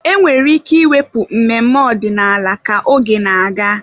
Enwere ike ịwepụ mmemme ọdịnala ka oge na-aga.